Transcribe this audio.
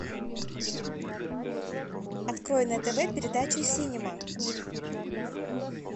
открой на тв передачу синема